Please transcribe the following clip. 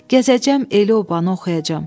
Gəzəcəm, el-obanı oxuyacam.